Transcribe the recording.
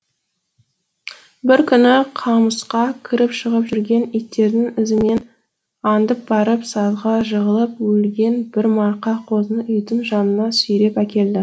бір күні қамысқа кіріп шығып жүрген иттердің ізімен аңдып барып сазға жығылып өлген бір марқа қозыны үйдің жанына сүйреп әкелді